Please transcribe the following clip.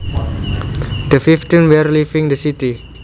The fifteen were leaving the city